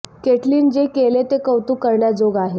Caitlin जे केले ते कौतुक करण्या जोग आहे